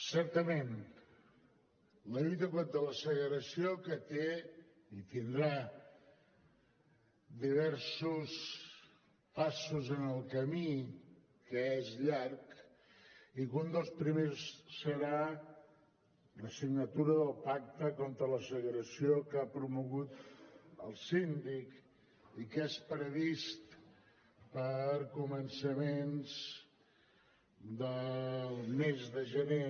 certament la lluita contra la segregació que té i tindrà diversos passos en el camí que és llarg i un dels primers serà la signatura del pacte contra la segregació que ha promogut el síndic i que és previst per a començaments del mes de gener